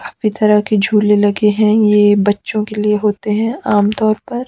काफी तरह के झूले लगे हैं यह बच्चों के लिए होते हैं आमतौर पर।